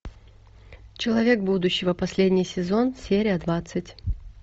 человек будущего последний сезон серия двадцать